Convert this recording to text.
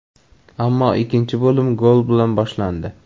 Ammo ikkinchi bo‘lim gol bilan boshlandi.